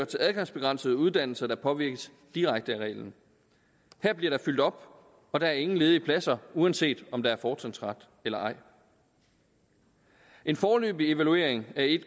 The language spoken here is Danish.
til adgangsbegrænsede uddannelser der påvirkes direkte af reglen her bliver der fyldt op og der er ingen ledige pladser uanset om der er fortrinsret eller ej en foreløbig evaluering af